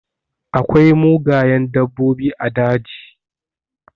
Akwai mugayen dabbobi a daji.